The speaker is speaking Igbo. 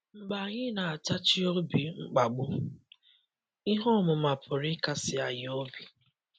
Mgbe anyị na-atachi obi mkpagbu, ihe ọmụma pụrụ ịkasi anyị obi?